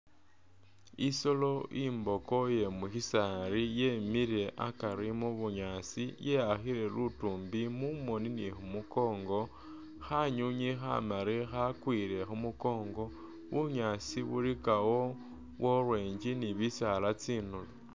Isoolo imboko iye musisaali yemile akari mu bunyaasi ye'akhile lutuumbi mumoni ni khu mukongo, khanywinywi khamali khakwile khu mukongo, bunyaasi bulikawo bwa orange ni bisaala tsinulo.